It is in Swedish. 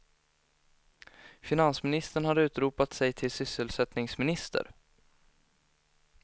Finansministern har utropat sig till sysselsättningsminister.